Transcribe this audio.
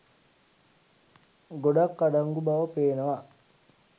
ගොඩක් අඩංගු බව පේනවා.